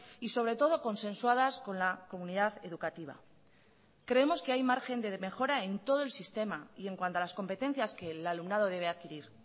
y sobre todo consensuadas con la comunidad educativa creemos que hay margen de mejora en todo el sistema y en cuanto a las competencias que el alumnado debe adquirir